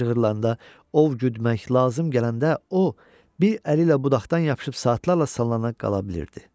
Meşə cığırlarında ov güdmək lazım gələndə o, bir əli ilə budaqdan yapışıb saatlarla sallana qala bilirdi.